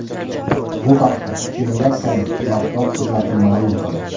Bu haqda Federatsiyaning matbuot xizmati ma’lum qildi.